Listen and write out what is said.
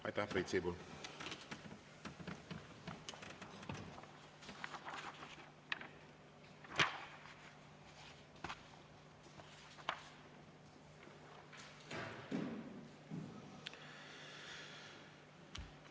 Aitäh, Priit Sibul!